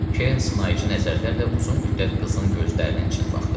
Kern sınaıcı nəzərlərlə uzun müddət qızın gözlərinin içinə baxdı.